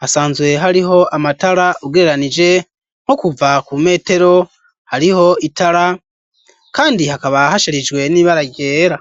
hasanzwe hariho amatara ugereranije nko kuva ku metero hariho itara kandi hakaba hasharijwe n'ibara ryera.